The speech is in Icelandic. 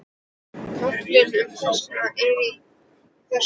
Kaflinn um þetta er á þessa leið